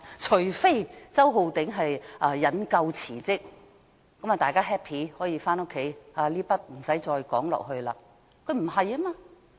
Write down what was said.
除非周浩鼎議員引咎辭職，這樣便大家 happy， 不用再討論下去。